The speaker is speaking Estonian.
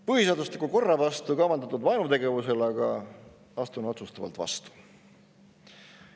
Põhiseadusliku korra vastu kavandatud vaenutegevusele aga astun otsustavalt vastu.